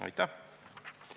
Aitäh!